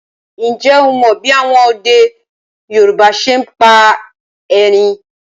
Ǹjẹ́ o mọ bí àwọn ọdẹ Yorùbá ṣe ń pa erin